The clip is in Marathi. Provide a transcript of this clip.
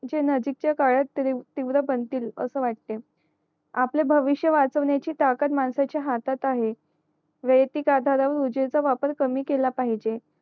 जे नजदिक च्या काळात तिव्र बनतील असं वाटते आपलं भविष्य वाचवण्याची ताकत माणसाच्या हातात आहे वायतीक आधार वर विझेचा वापर कमी केला पाहिजे